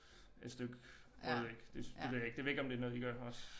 Et stykke brød ik det det ved jeg ikke det ved jeg ikke om det noget I gør også